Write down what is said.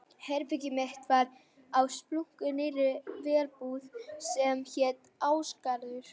Herbergið mitt var á splunkunýrri verbúð sem hét Ásgarður.